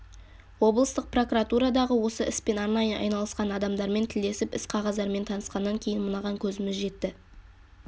облыстық прокуратурадағы осы іспен арнайы айналысқан адамдармен тілдесіп іс-қағаздармен танысқаннан кейін мынаған көзіміз жетті